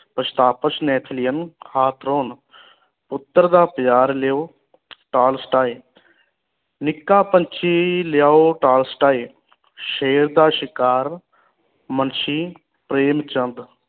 ਉਤਰ ਦਾ ਬਜ਼ਾਰ ਲਿਓ ਨਿੱਕਾ ਪੰਛੀ ਲਿਆਓ ਸ਼ੇਰ ਦਾ ਸ਼ਿਕਾਰ ਮੁਨਸ਼ੀ ਪ੍ਰੇਮ ਚੰਦ